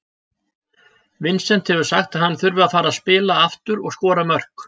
Vincent hefur sagt að hann þurfi að fara að spila aftur og skora mörk.